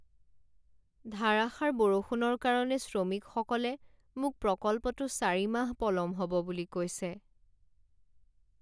ধাৰাসাৰ বৰষুণৰ কাৰণে শ্ৰমিকসকলে মোক প্ৰকল্পটো চাৰি মাহ পলম হ'ব বুলি কৈছে।